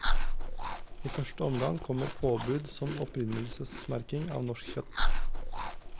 I første omgang kommer påbud om opprinnelsesmerking av norsk kjøtt.